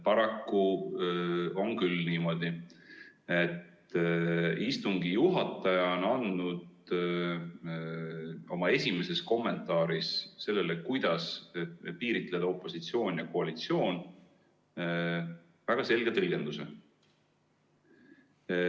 Paraku on küll niimoodi, et istungi juhataja on andnud oma esimeses kommentaaris sellele, kuidas piiritleda opositsioon ja koalitsioon, väga selge tõlgenduse.